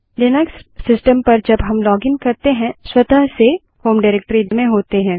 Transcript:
Linux system पर जब हम लॉगिन करते हैं स्वतः से होम डाइरेक्टरी में होते हैं